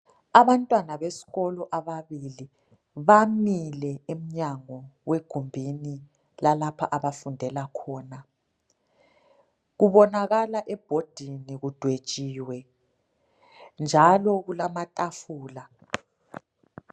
abantwana besikolo ababili bamile emnyango wegumbini lalapha abafundela khona kubonakala ebhodini kudwetshiwe njalo kulama tafula